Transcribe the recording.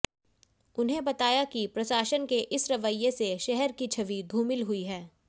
उन्हें बताया कि प्रशासन के इस रवैये से शहर की छवि धूमिल हुई है